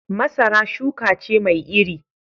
Masara shuka ce mai iri